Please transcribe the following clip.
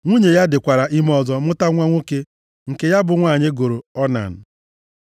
Nwunye ya dịkwara ime ọzọ mụta nwa nwoke nke ya bụ nwunye ya gụrụ Onan.